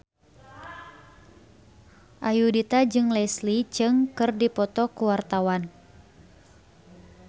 Ayudhita jeung Leslie Cheung keur dipoto ku wartawan